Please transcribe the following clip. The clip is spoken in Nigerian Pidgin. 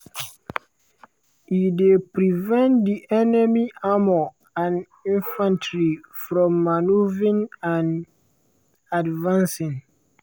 e dey prevent di enemy armour and infantry from manoeuvring and advancing.